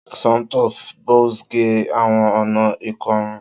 Somto fẹ Buzz ge awọn ọna ikorun.